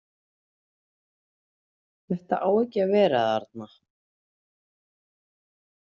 Þetta á ekki að vera þarna